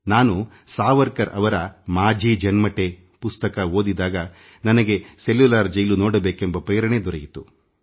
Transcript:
ನಾನು ಸಾವರ್ಕರ್ ಅವರಮಾಝಿ ಜನ್ಮಠೆ ಪುಸ್ತಕ ಓದಿದ ಮೇಲೆಯೇ ನನಗೆ ಸೆಲ್ಯುಲಾರ್ ಜೈಲು ನೋಡಬೇಕೆಂದು ಅನಿಸಿದ್ದು